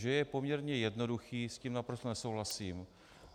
Že je poměrně jednoduchý, s tím naprosto nesouhlasím.